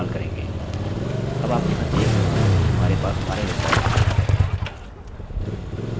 अब आप यहाँ देख सकते हैं कि हमारे पास हमारे रिकार्डसअभिलेख हैं